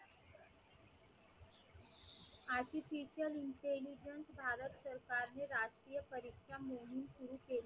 artficial intelligence Bharat सरकारने राष्ट्रीय परीक्षा मोहीम सुरू केली.